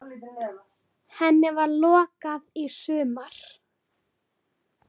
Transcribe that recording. Henni var lokað í sumar.